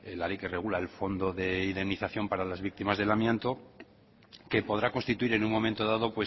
la ley que regula el fondo de indemnización para las víctimas del amianto que podrá constituir en un momento dado